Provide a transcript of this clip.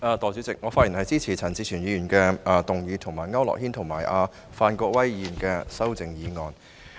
代理主席，我發言支持陳志全議員動議的議案，以及區諾軒議員和范國威議員的修正案。